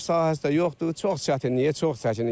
Örüş sahəsi də yoxdur, çox çətinlikdir, çox çəkinir.